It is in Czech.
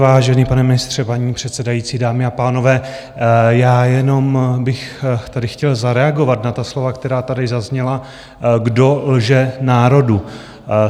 Vážený, pane ministře, paní předsedající, dámy a pánové, já jenom bych tady chtěl zareagovat na ta slova, která tady zazněla, kdo lže národu.